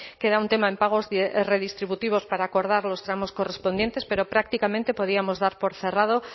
queda un tema en pagos redistributivos para acordar los tramos correspondientes pero prácticamente podíamos dar por cerrado